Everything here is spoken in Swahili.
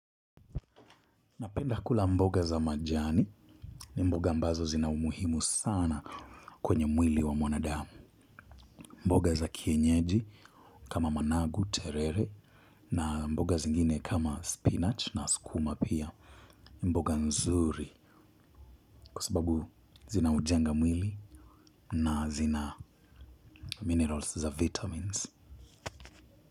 Napenda kula mboga za majani. Ni mboga ambazo zina umuhimu sana kwenye mwili wa mwanadamu. Mboga za kienyeji kama managu, terere na mboga zingine kama spinach na sukuma pia mboga nzuri kwa sababu zina ujenga mwili na zina minerals za vitamins.